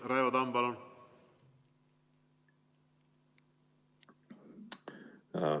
Raivo Tamm, palun!